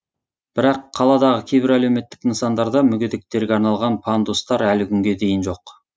бірақ қаладағы кейбір әлеуметтік нысандарда мүгедектерге арналған пандустар әлі күнге дейін жоқ